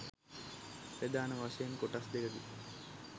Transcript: ප්‍රධාන වශයෙන් කොටස් දෙකකි.